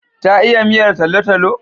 Ta iya miyar talo-talo?